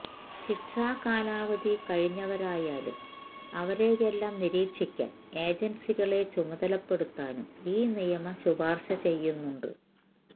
ശിക്ഷാ കാലാവധി കഴിഞ്ഞവരായാലും അവരെയെല്ലാം നിരീക്ഷിക്കാൻ ഏജൻസികളെ ചുമതലപ്പെടുത്താനും ഈ നിയമം ശുപാർശ ചെയ്യുന്നുണ്ട്